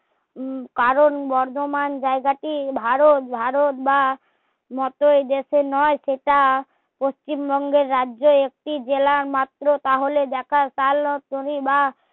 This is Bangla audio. কারণ বর্ধমান জায়গা টি ভারত ভারত বা মতো এই দেশ নয় সেটা পশ্চিমবঙ্গে রাজ্যে একটি জেলা মাত্র তাহলে দেখা কাল